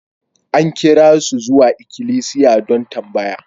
An kira su zuwa ikilisiya don tambaya.